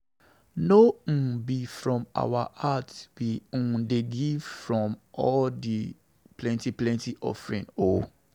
No um be from our heart we um dey from give all di plenty plenty offering o.